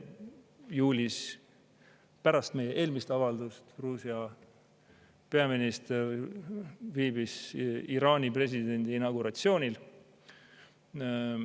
Juulis, pärast meie eelmist avaldust Gruusia peaminister viibis Iraani presidendi inauguratsioonil.